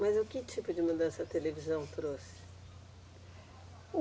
Mas o que tipo de mudança a televisão trouxe?